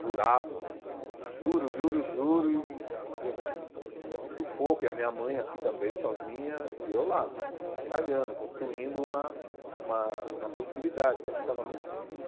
Jurava, juro, juro, juro, e e a gente, nesse sufoco, e a minha mãe aqui também, sozinha, e eu lá, batalhando, construindo uma uma uma possibilidade, porque aqui estava muito difícil.